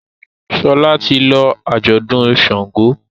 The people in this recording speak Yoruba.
Shola tí lọ ajọdun ṣàngó.